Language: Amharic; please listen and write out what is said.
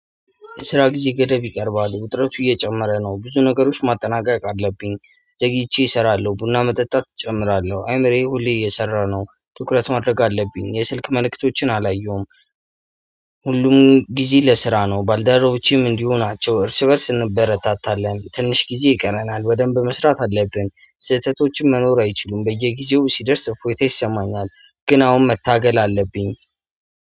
ስራ ጊዜ ገደብ ይቀርባል ውጥረቱ እየጨመረ ነው ብዙ ነገሮች ማጠናቀቅ አለብኝ ዘግይቼ እሰራለሁ ቡና መጠጣት እጨምራለሁ አይምሬ ሁሌ እየሰራ ነው ትኩረት ማድረግ አለብኝ የስልክ መልእክቶችን አላየሁም። ሁሉም ጊዜ ለስራ ነው ባልደረቦቼም እንዲሁ ናቸው እርስ በእርስ እንበረታታለን ትንሽ ጊዜ ይቀረናል ወደንብ መስራት አለብን። ስህተቶችን መኖር አይችሉም በየጊዜው ሲደርስ እፎይታ ይሰማኛል። ግን አሁን መታገል አለብኝ።